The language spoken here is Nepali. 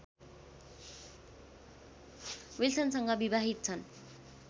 विल्सनसँग विवाहित छन्